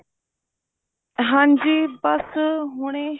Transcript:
ਹਾਂਜੀ ਬੱਸ ਹੁਣੇ